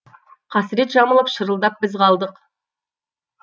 қасірет жамылып шырылдап біз қалдық